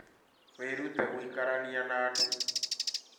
Wĩrute gũikarania na andũ